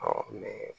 mɛn